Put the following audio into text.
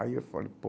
Aí eu falei, pô,